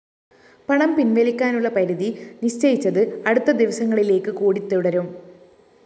പണം പിന്‍വലിക്കാനുള്ള പരിധി നിശ്ചയിച്ചത് അടുത്ത ദിവസങ്ങളിലേക്ക് കൂടി തുടരും